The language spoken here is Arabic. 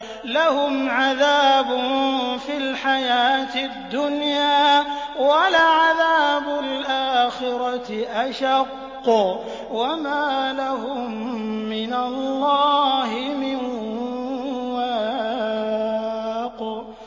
لَّهُمْ عَذَابٌ فِي الْحَيَاةِ الدُّنْيَا ۖ وَلَعَذَابُ الْآخِرَةِ أَشَقُّ ۖ وَمَا لَهُم مِّنَ اللَّهِ مِن وَاقٍ